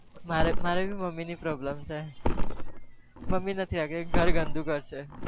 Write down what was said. મારે બી મમ્મીની problem છે મમ્મી કે ઘર ગંદુ કરશે.